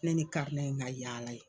Ne ni in ka yaala ye.